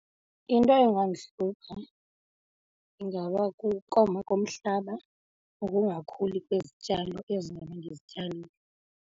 Into engandihlupha ingaba kukoma komhlaba nokungakhuli kwezityalo ezi ndizobe ndizityalile.